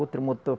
Outro motor...